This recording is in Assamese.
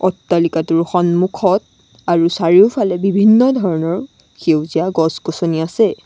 অট্টালিকাটোৰ সন্মুখত আৰু চাৰিওফালে বিভিন্ন ধৰণৰ সেউজীয়া গছ-গছনি আছে।